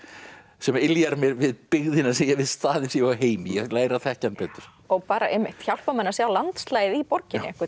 sem yljar mér við staðinn sem ég á heima í læra að þekkja hann betur og bara einmitt hjálpar manni að sjá landslagið í borginni